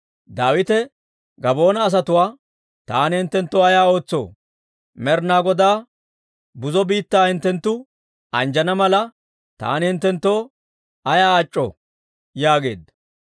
Daawite Gabaa'oona asatuwaa, «Taani hinttenttoo ayaa ootsoo? Med'inaa Godaa buzo biittaa hinttenttu anjjana mala, taani hinttenttoo ayaa ac'c'oo?» yaageedda.